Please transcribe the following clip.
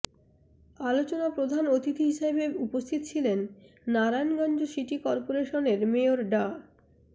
আলোচনা প্রধান অতিথি হিসেবে উপস্থিত ছিলেন নারায়ণগঞ্জ সিটি করপোরেশনের মেয়র ডা